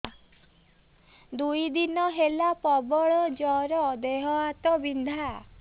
ଦୁଇ ଦିନ ହେଲା ପ୍ରବଳ ଜର ଦେହ ହାତ ବିନ୍ଧା